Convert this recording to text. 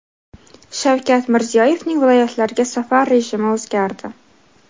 Shavkat Mirziyoyevning viloyatlarga safar rejimi o‘zgardi .